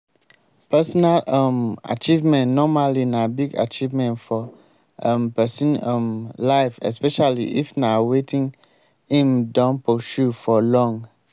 personal um achievement normally na big achievement for um person um life especially if na wetin im don pursue for long